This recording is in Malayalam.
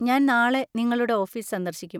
ഞാൻ നാളെ നിങ്ങളുടെ ഓഫീസ് സന്ദർശിക്കും.